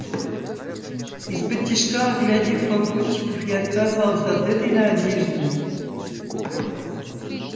исподтишка оглядев попутчиков я отказался от этой надежды